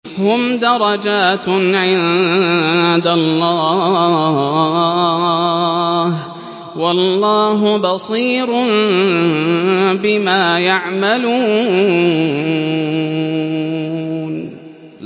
هُمْ دَرَجَاتٌ عِندَ اللَّهِ ۗ وَاللَّهُ بَصِيرٌ بِمَا يَعْمَلُونَ